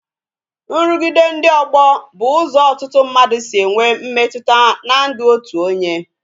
Nrugide ndị ọgbọ bụ ụzọ ọtụtụ mmadụ si enwe mmetụta n'ndụ otu onye